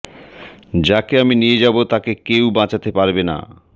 যাকে আমি নিয়ে যাব তাকে কেউ বাঁচাতে পারবে না